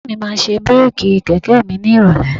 Bàbá mi máa ṣe bíréèkì kẹ̀kẹ́ mi ni ìrọ̀lẹ́